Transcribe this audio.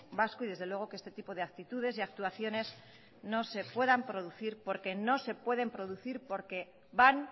vasco y desde luego que este tipo de actitudes y actuaciones no se puedan producir porque no se pueden producir porque van